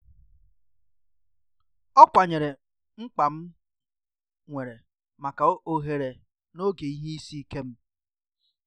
ọkwanyere mkpa m nwere maka ohere n'oge ihe isi ike m